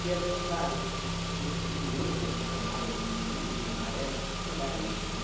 assim, claro, quem é curioso e aquelas chamadas em vermelho e amarelo, o que será isso,